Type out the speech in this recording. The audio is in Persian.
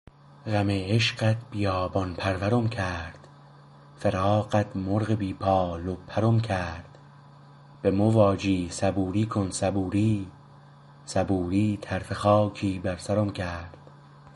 غم عشقت بیابان پرورم کرد فراقت مرغ بی بال و پرم کرد بمو واجی صبوری کن صبوری صبوری طرفه خاکی بر سرم کرد